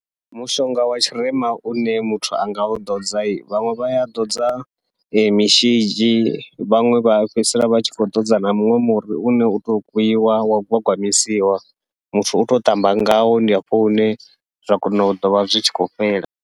Mushonga wa tshirema une muthu anga u ḓodza vhaṅwe vha ya ḓodza mishidzhi, vhaṅwe vha fhedzisela vha tshi khou ḓodza na muṅwe muri une utou gwiwa wa gwagwamisiwa muthu utou ṱamba ngawo, ndi hafho hune zwa kona u ḓovha zwi tshi khou fhela.